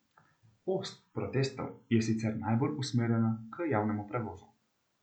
Ost protestov je sicer najbolj usmerjena k javnemu prevozu.